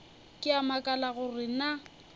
ke a makala gore na